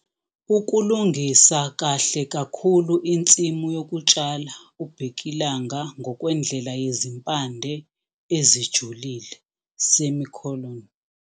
Ukulungisa kahle kakhulu insimu yokutshala ubhekilanga ngokwendlela yezimpande ezijulile.